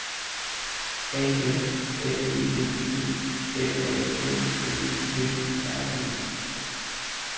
A F L E D E M A N Ø V R E